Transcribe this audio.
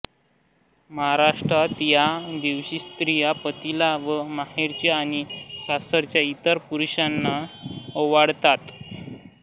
महाराष्ट्रात या दिवशी स्त्रिया पतीला व माहेरच्या आणि सासरच्या इतर पुरुषांना ओवाळतात